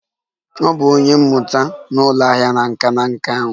Ọ bụ onye mmụta n'ụlọ ahịa nka nka ahụ